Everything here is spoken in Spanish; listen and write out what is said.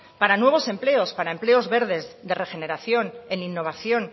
para nuevos empleos para empleos verdes de regeneración en innovación